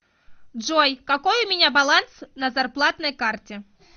джой какой у меня баланс на зарплатной карте